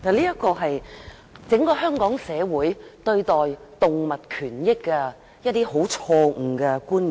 這是整個香港社會對待動物權益的一些錯誤觀念。